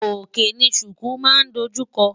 Òkè ni ṣùkú máa ń dojú kọ.